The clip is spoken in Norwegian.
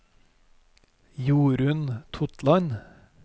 Jorun Totland